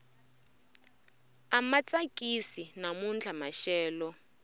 ama tsakisi namuntlha maxelo